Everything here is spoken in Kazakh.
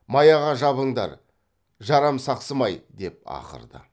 маяға жабыңдар жарамсақсымай деп ақырды